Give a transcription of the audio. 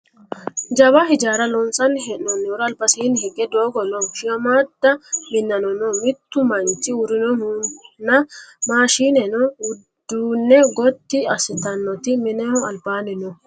jawa hijaara loonsanni hee'noonnihura albasiinni higge doogo no shiimmaadda minanno no mittu manchu uurrinohunna maashineno uduunne gotti assitannoti mineho albaani no